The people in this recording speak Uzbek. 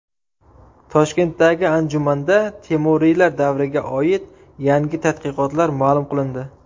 Toshkentdagi anjumanda temuriylar davriga oid yangi tadqiqotlar ma’lum qilindi.